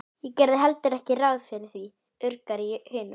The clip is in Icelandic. Ég gerði heldur ekki ráð fyrir því, urgar í hinum.